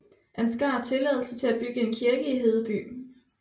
Ansgar tilladelse til at bygge en kirke i Hedeby